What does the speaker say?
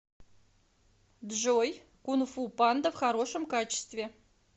джой кунфу панда в хорошем качестве